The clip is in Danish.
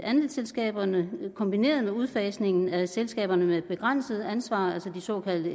andelsselskaberne kombineret med udfasningen af selskaberne med begrænset ansvar altså de såkaldte